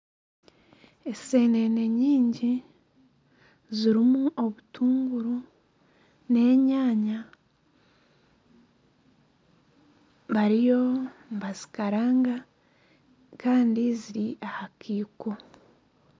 Enseenene nyingi zirimu obutunguru n'enyaanya. Bariyo nibazikaranga kandi ziri aha kaiko.